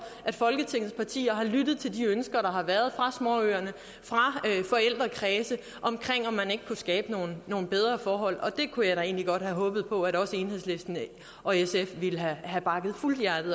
at folketingets partier har lyttet til de ønsker der har været fra småøerne fra forældrekredse om om man ikke kunne skabe nogle nogle bedre forhold og det kunne jeg da egentlig godt have håbet på at også enhedslisten og sf ville have bakket fuldt